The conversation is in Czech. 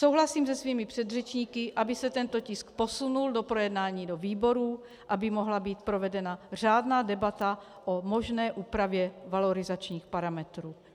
Souhlasím se svými předřečníky, aby se tento tisk posunul do projednání do výborů, aby mohla být provedena řádná debata o možné úpravě valorizačních parametrů.